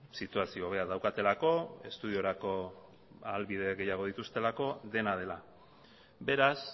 situazio hobea daukatelako estudiorako ahalbide gehiago dituztelako dena dela beraz